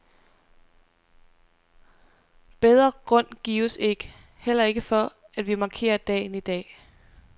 Bedre grund gives ikke, heller ikke for, at vi markerer dagen i dag.